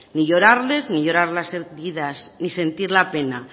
ni llorarles ni llorar la heridas n sentir la pena